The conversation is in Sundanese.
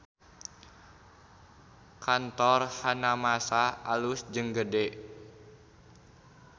Kantor Hanamasa alus jeung gede